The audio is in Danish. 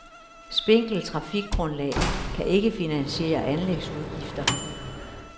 Spinkelt trafikgrundlag kan ikke finansiere anlægsudgifter.